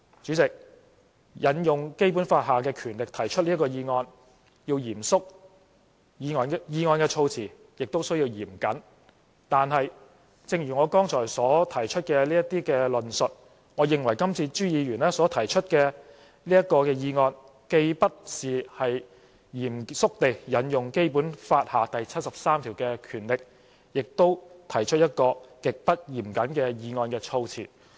主席，引用《基本法》下的權力提出議案必須嚴肅，議案措辭也需要嚴謹，但正如我剛才提出的論述，我認為朱議員今次所提出的議案，既不是嚴肅地引用《基本法》第七十三條下的權力，也提出了一項極不嚴謹的議案措辭。